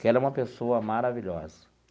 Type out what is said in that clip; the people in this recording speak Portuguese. que ela é uma pessoa maravilhosa.